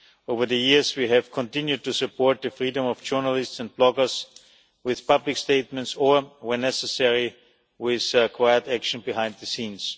Over the years we have continued to support the freedom of journalists and bloggers with public statements or, where necessary, with quiet action behind the scenes.